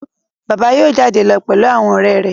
Bàbá yóò jáde lọ pẹ̀lú àwọn ọ̀rẹ́ rẹ̀